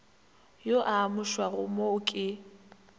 yo a amušwago mo ke